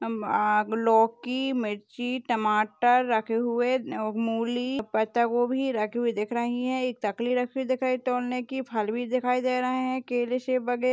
लाेेकी मिर्ची टमाटर रखे हुए मूली पत्तागोभी रखे हुए दिख रही है एक चकली रखी दिखाई दे रही तोेेलने की फल भी दिखाई दे रहे हैं केले सेब वगेे --